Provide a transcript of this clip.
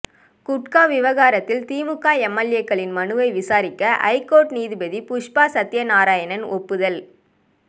குட்கா விவகாரத்தில் திமுக எம்எல்ஏக்களின் மனுவை விசாரிக்க ஐகோர்ட் நீதிபதி புஷ்பா சத்யநாராயணன் ஒப்புதல்